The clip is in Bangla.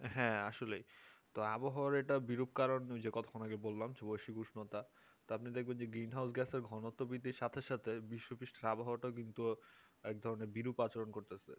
হ্যাঁ আসলে তো আবহাওয়ার এটা বিরুপ হওয়ার কারণ হয়েছে কতক্ষণ আগে যে বললাম শুভশ্রী উষ্ণতা তারপর আপনি দেখবেন যে গ্রীন হাউস গ্যাসের ঘনত্ব বৃদ্ধির সাথে সাথে বিশ্ব পিস্ট আবহাওয়া কিন্তু এক ধরনের বিরূপ আচরণ করতেছে